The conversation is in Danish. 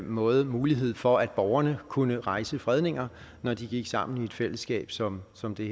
måde mulighed for at borgerne kunne rejse fredninger når de gik sammen i et fællesskab som som det